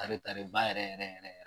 Tare tare ba yɛrɛ yɛrɛ yɛrɛ